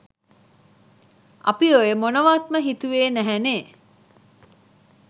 අපි ඔය මොනවත්ම හිතුවේ නැහැනේ